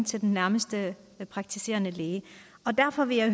til den nærmeste praktiserende læge derfor vil jeg